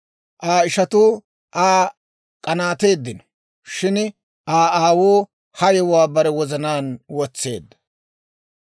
Aa ishatuu Aa k'anaateeddino; shin Aa aawuu ha yewuwaa bare wozanaan wotseedda.